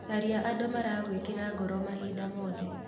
Caria andũ maragwĩkĩra ngoro mahinda mothe.